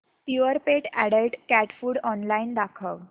Purepet adult cat food online दाखव